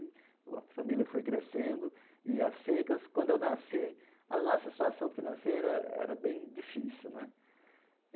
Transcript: A família foi crescendo, e as secas, quando eu nasci, a nossa situação financeira era bem difícil né.